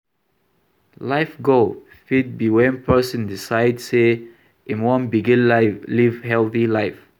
Life goal fit be when person decide sey im wan begin live healthy life